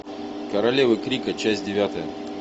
королева крика часть девятая